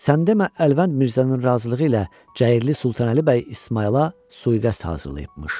Sən demə Əlvənd Mirzənin razılığı ilə Cəyirli Sultanəli bəy İsmayıla sui-qəsd hazırlayıbmış.